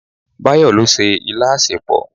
Báyọ̀ ló se ilá asèpọ̀.